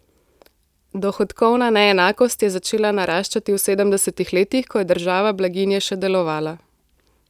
Dohodkovna neenakost je začela naraščati v sedemdesetih letih, ko je država blaginje še delovala.